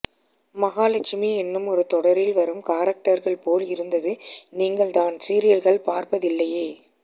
மகாலட்சுமி என்னும் ஒரு தொடரில் வரும் காரக்டர்கள் போல் இருந்தது நீங்கள்தான் சீரியல்கள் பார்ப்பதில்லையே